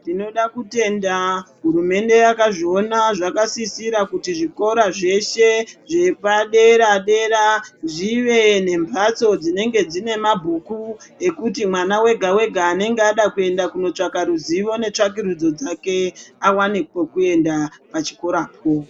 Tinoda kutenda hurumende yakazviona zvakasisira kuti zvikora zveshe zvepadera dera zvive nembatso dzinenge dzine mabhuku ekuti mwana wega wega anenge ada kuende kunotsvaka ruzivo netsvakurudzo dzake awane pekuenda pachikorapo.